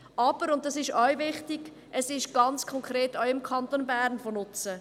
Es ist aber – und dies ist auch wichtig – ganz konkret auch im Kanton Bern von Nutzen.